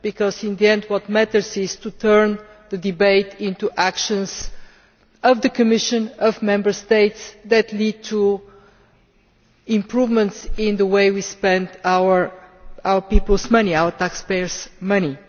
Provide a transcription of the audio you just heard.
Because in the end, what matters is to turn the debate into actions of the Commission, of Member States, that lead to improvements in the way we spend our taxpayers' money.